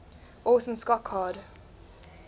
orson scott card